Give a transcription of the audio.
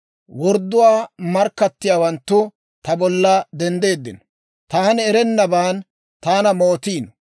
Wordduwaa markkattiyaawanttu ta bolla denddiino. Taani erennaban taana mootiino.